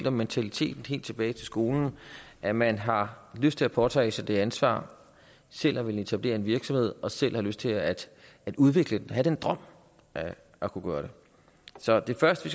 om mentaliteten helt tilbage i skolen at man har lyst til at påtage sig det ansvar selv at ville etablere en virksomhed og selv at have lyst til at udvikle den og have den drøm at kunne gøre det så det første